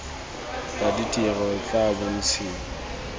wa ditiro o tla bontshiwa